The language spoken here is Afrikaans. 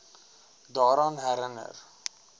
daaraan herin ner